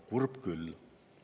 Kurb küll!